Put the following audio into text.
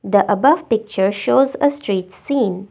the above picture shows a street scene.